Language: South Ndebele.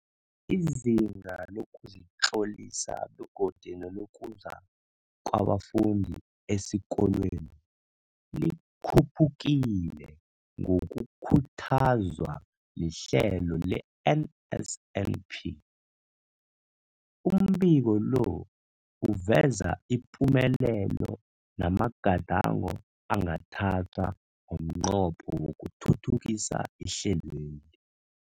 Izinga lokuzitlolisa begodu nelokuza kwabafundi esikolweni likhuphukile ngokukhuthazwa lihlelo le-NSNP. Umbiko lo uveza ipumelelo namagadango angathathwa ngomnqopho wokuthuthukisa ihlelweli.